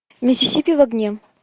миссисипи в огне